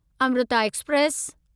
Amrita express